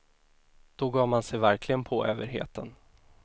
Då gav man sig verkligen på överheten.